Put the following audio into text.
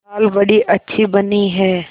दाल बड़ी अच्छी बनी है